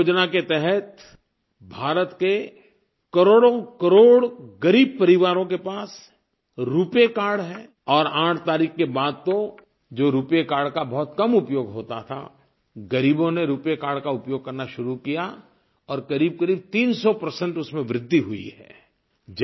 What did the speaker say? जनधन योजना के तहत भारत के करोड़ोंकरोड़ ग़रीब परिवारों के पास रूपे कार्ड है और 8 तारीख़ के बाद तो जो रूपे कार्ड का बहुत कम उपयोग होता था गरीबों ने रूपे कार्ड का उपयोग करना शुरू किया और क़रीबकरीब 300 उसमें वृद्धि हुई है